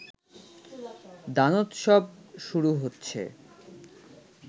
দানোৎসব শুরু হচ্ছে